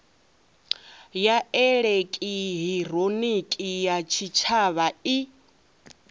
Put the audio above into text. ya elekihironiki ya tshitshavha i